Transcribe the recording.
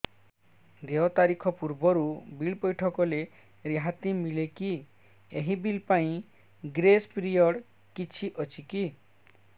ଦେୟ ତାରିଖ ପୂର୍ବରୁ ବିଲ୍ ପୈଠ କଲେ ରିହାତି ମିଲେକି ଏହି ବିଲ୍ ପାଇଁ ଗ୍ରେସ୍ ପିରିୟଡ଼ କିଛି ଅଛିକି